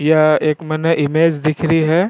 यह एक मैंने इमेज दिख रही है।